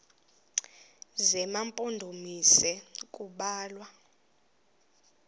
zema mpondomise kubalwa